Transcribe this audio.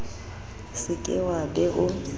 se ke wa be o